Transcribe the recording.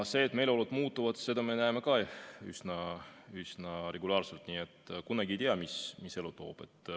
Seda, et meeleolud muutuvad, me näeme ka üsna regulaarselt, nii et kunagi ei tea, mis elu toob.